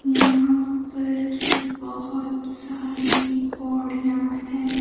यहां पर बहुत सारी पौड़ियां हैं।